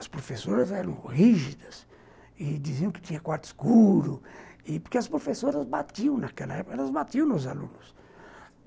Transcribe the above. As professoras eram rígidas e diziam que tinha quarto escuro e porque as professoras batiam naquela época, elas batiam nos alunos.